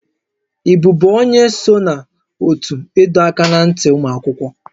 Ị bụbu onye so na ótú ịdọ aka ná ntị ụmụ akwụkwọ?